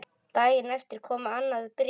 Daginn eftir kom annað bréf.